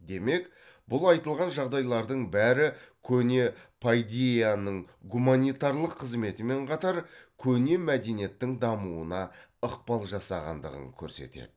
демек бұл айтылған жағдайлардың бәрі көне пайдейяның гуманитарлық қызметімен қатар көне мәдениеттің дамуына ықпал жасағандығын көрсетеді